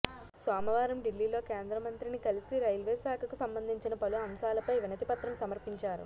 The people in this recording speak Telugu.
సోమవారం ఢిల్లీలో కేంద్రమంత్రిని కలిసి రైల్వేశాఖకు సంబంధించిన పలు అంశాలపై వినతిపత్రం సమర్పించారు